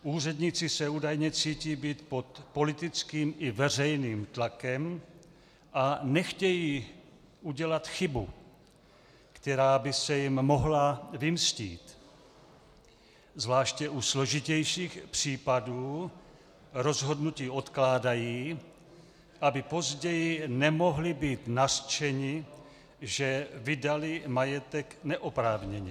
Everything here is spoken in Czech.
Úředníci se údajně cítí být pod politickým i veřejným tlakem a nechtějí udělat chybu, která by se jim mohla vymstít, zvláště u složitějších případů rozhodnutí odkládají, aby později nemohli být nařčeni, že vydali majetek neoprávněně.